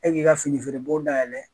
E k'i ka fini feere bon dayɛlɛ